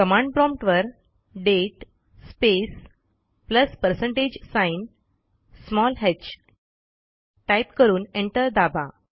command promptवर दाते space plus percentage sign type करून एंटर दाबा